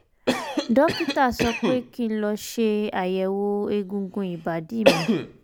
dókítà sọ pé kí n lọ ṣe àyẹ̀wò egungun ìbàdí mi